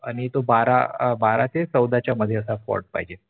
आणी तो बारा अं बारा ते चौदा च्या मध्ये असा Font पाहिजे